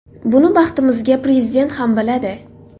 Buni, baxtimizga, Prezident ham biladi.